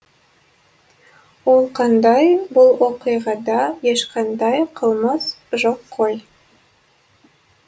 ол қандай бұл оқиғада ешқандай қылмыс жоқ қой